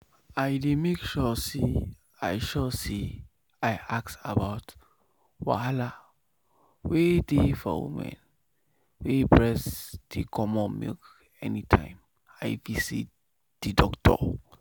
i dey make sure say i sure say i ask about wahalawey dey for women wey breast dey comot milk anytime i visit the doctor.